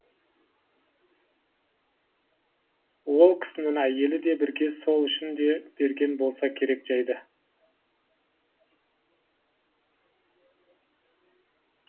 ол кісінің әйелі де бірге сол үшін де берген болса керек жайды